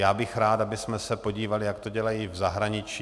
Já bych rád, abychom se podívali, jak to dělají v zahraničí.